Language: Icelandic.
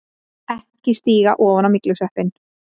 EKKI STÍGA OFAN Á MYGLUSVEPPINN!